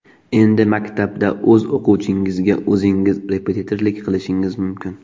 Endi maktabda o‘z o‘quvchingizga o‘zingiz repetitorlik qilishingiz mumkin!